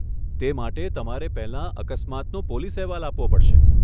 તે માટે, તમારે પહેલા અકસ્માતનો પોલીસ અહેવાલ આપવો પડશે.